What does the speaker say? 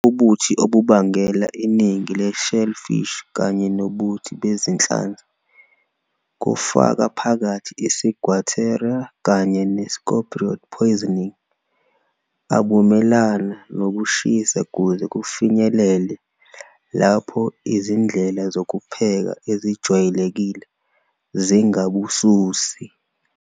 Ubuthi obubangela iningi le-shellfish kanye nobuthi bezinhlanzi, kufaka phakathi i-ciguatera kanye ne-scombroid poisoning, abumelana nokushisa kuze kufinyelele lapho izindlela zokupheka ezijwayelekile zingabususi.